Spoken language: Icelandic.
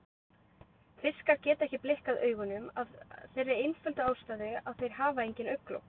Fiskar geta ekki blikkað augunum af þeirri einföldu ástæðu að þeir hafa engin augnlok.